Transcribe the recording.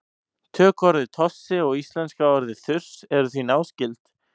tökuorðið tossi og íslenska orðið þurs eru því náskyld